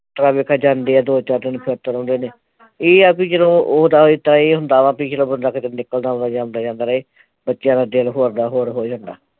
ਜਾਂਦੇ ਆ ਦੋ ਥਾਂ ਤੇ ਇਹ ਆ ਬਈ ਉਹ ਇਹ ਹੁੰਦਾ ਵਾਂ ਬਈ ਜਦੋਂ ਬੰਦਾ ਕਿਤੇ ਨਿਕਲਦਾ ਆਉਂਦਾ ਜਾਉਦਾ ਰਹੇ ਬੱਚਿਆਂ ਦਾ ਦਿਲ ਹੋਰ ਦਾ ਹੋਰ ਹੋ ਜਾਂਦਾ